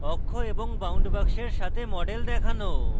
অক্ষ এবং বাউন্ড বাক্সের সাথে মডেল দেখানো এবং